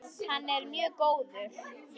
Hann er mjög góður.